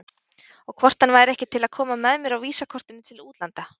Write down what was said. Og hvort hann væri ekki til að koma með mér og VISA-kortinu til útlanda?